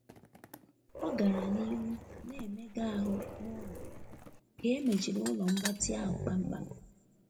Ọ gara n'ihu na-emega ahụ n'ụlọ ka emechiri ụlọ mgbatị ahụ kpamkpam.